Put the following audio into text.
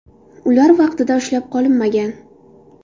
Ular vaqtida ushlab qolinmagan.